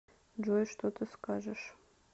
джой что ты скажешь